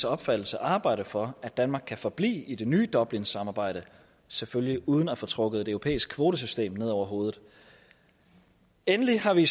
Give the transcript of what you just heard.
opfattelse arbejde for at danmark kan forblive i det nye dublinsamarbejde selvfølgelig uden at få trukket et europæisk kvotesystem ned over hovedet endelig har vi i